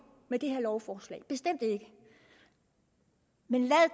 med det her lovforslag bestemt ikke men lad